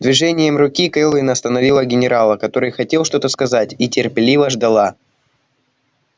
движением руки кэлвин остановила генерала который хотел что-то сказать и терпеливо ждала